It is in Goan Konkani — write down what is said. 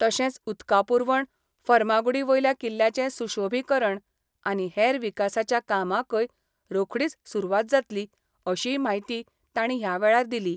तशेंच उदका पूरवण, फर्मागुडी वयल्या किल्ल्याचे सुशोभिकरण आनी हेर विकासाच्या कामाकय रोखडीच सुरूवात जातली अशीय म्हायती तांणी हया वेळार दिली.